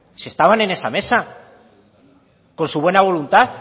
si estaban en esa mesa con su buena voluntad